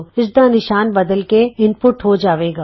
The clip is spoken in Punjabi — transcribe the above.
ਇਸਦਾ ਨਿਸ਼ਾਨ ਬਦਲ ਕੇ ਇਨਪੁਟ ਹੋ ਜਾਏਗਾ